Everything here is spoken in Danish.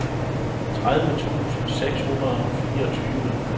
tredive tusind seks hundrede og fireogtyve